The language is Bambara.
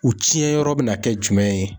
U tiɲɛyɔrɔ bina kɛ jumɛn ye?